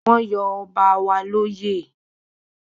Wọ́n yọ ọba wa lóyè